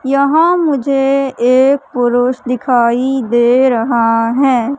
यहां मुझे एक पुरुष दिखाई दे रहा है।